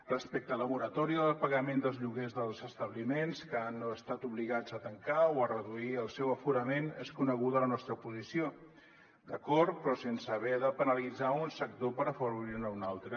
respecte a la moratòria del pagament dels lloguers dels establiments que han estat obligats a tancar o a reduir el seu aforament és coneguda la nostra posició d’acord però sense haver de penalitzar un sector per afavorir ne un altre